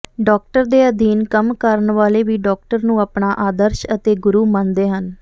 doctor ਦੇ ਅਧੀਨ ਕੰਮ ਕਰਨ ਵਾਲੇ ਵੀ ਡਾਕਟਰ ਨੂੰ ਆਪਣਾ ਆਦਰਸ਼ ਅਤੇ ਗੁਰੂ ਮੰਨਦੇ ਹਨ